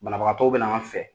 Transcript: Banabagatɔw bɛ n'an fɛ